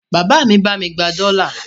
Bàbá mi bá mi gba dọ́là.